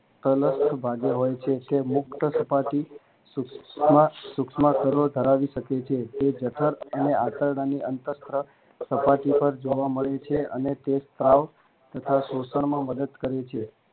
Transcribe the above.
અલગ ભાગે હોય છે જે મુક્ત સપાટી સૂક્ષ્મ સ્તરો ધરાવી શકે છે તે જઠર અને આંતરડાની અંતસ્ત્ર સપાટી પર જવા મળે છે અને તે સ્ત્રાવ તથા શોષણમાં મદદ કરે છે